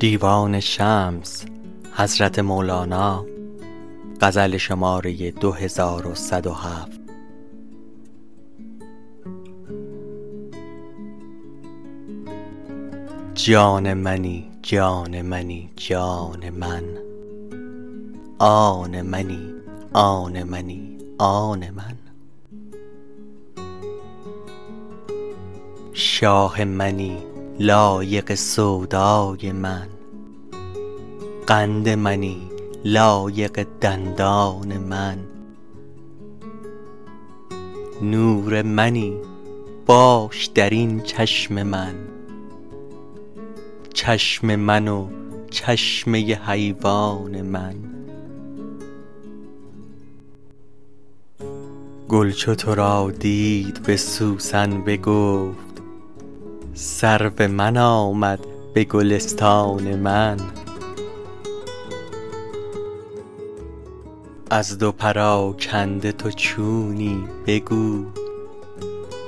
جان منی جان منی جان من آن منی آن منی آن من شاه منی لایق سودای من قند منی لایق دندان من نور منی باش در این چشم من چشم من و چشمه حیوان من گل چو تو را دید به سوسن بگفت سرو من آمد به گلستان من از دو پراکنده تو چونی بگو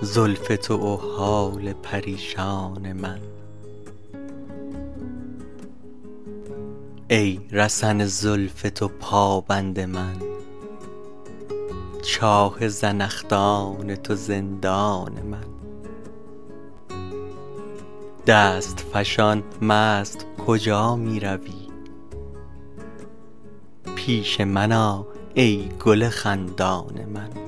زلف تو و حال پریشان من ای رسن زلف تو پابند من چاه زنخدان تو زندان من دست فشان مست کجا می روی پیش من آ ای گل خندان من